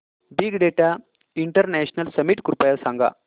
big data international summit कृपया सांगा